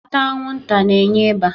Ata anwụnta na-enye ịba